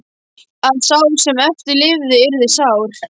Að sá sem eftir lifði yrði sár.